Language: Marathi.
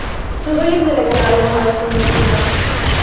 तू बघितलेलं का लाल महाल शिवनेरी किल्ला